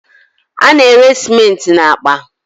A na- ere cementị na akpa